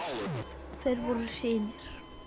Þeir voru synir